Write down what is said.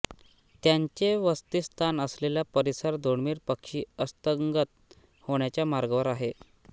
त्यांचे वसतीस्थान असलेल परिसर दुर्मिळ पक्षी अस्तंगत होण्याच्या मार्गावर आहे